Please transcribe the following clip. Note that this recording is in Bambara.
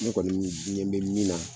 Ne kɔni n ɲɛ bɛ min na